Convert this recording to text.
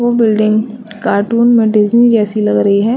वो building cartoon मेडिजिम जैसी लग रही है।